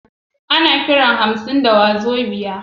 Ana Kiran naira hansin wazobia